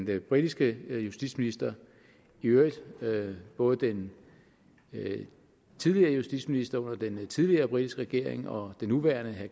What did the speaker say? den britiske justitsminister i øvrigt både den tidligere justitsminister under den tidligere britiske regering og den nuværende herre